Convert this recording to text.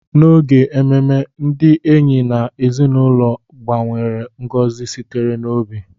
N'oge ememe, ndị enyi na ezinụlọ gbanwere ngozi sitere n'obi